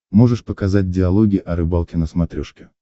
можешь показать диалоги о рыбалке на смотрешке